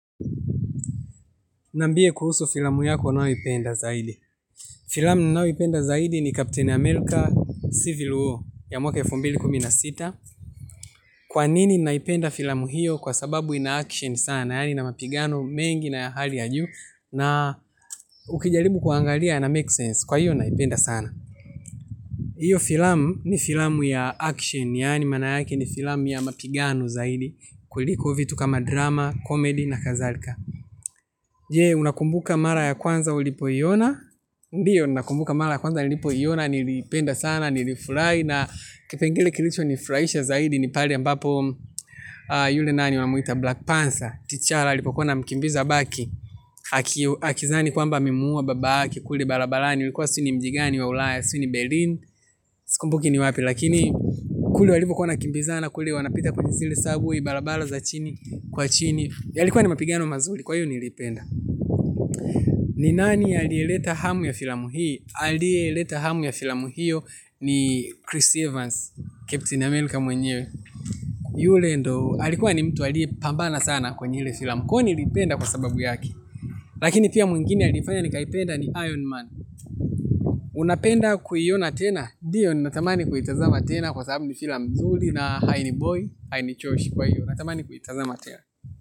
Niambie kuhusu filamu yako unayo ipenda zaidi. Filamu ninayo ipenda zaidi ni Captain America Civil War ya mwaka elfu mbili kumi na sita. Kwa nini naipenda filamu hiyo kwa sababu ina action sana, yaani ina mapigano mengi na ya hali yajuu. Na ukijaribu kua angalia yana make sense, kwa hiyo naipenda sana. Iyo filamu ni filamu ya action, yaani mana yake ni filamu ya mapigano zaidi, kuliko vitu kama drama, comedy na kazalka. Je unaakumbuka mara ya kwanza ulipoiona. Ndiyo, ninakumbuka mara ya kwanza nilipo iona. Niliipenda sana, nilifurai na kipengele kilicho nifuraisha zaidi ni pale ambapo yule nani wamuita Black Panther Tichara, alipokuwa ana mkimbiza baki. Akizani kwamba amemuua babake. Kule balabalani, ulikuwa sijuini mjigani wa ulaya Suini Berlin, sikumbuki ni wapi. Lakini kule walivo kuwa wana kimbiza na kule wanapita kwenye zile surbway balabala za chini, kwa chini yalikuwa ni mapigano mazuli, kwa hiyo niliipenda. Ni nani a liyeleta hamu ya filamu hii aliyeleta hamu ya filamu hiyo ni Chris Evans Captain America mwenyewe. Yule ndo alikuwa ni mtu aliye pambana sana kwenye hile filamu. Kwa niliipenda kwa sababu yake. Lakini pia mwingine alifanya nikaipenda ni Iron Man. Unapenda kuiona tena ndio ninatamani kuitazama tena kwa sababu ni filam nzuli. Na haini boi haini choishi kwa hiyo. Natamani kuitazama tena.